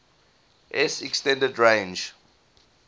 s extended range